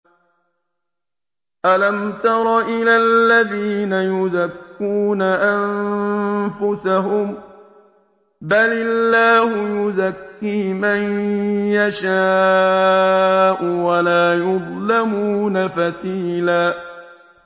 أَلَمْ تَرَ إِلَى الَّذِينَ يُزَكُّونَ أَنفُسَهُم ۚ بَلِ اللَّهُ يُزَكِّي مَن يَشَاءُ وَلَا يُظْلَمُونَ فَتِيلًا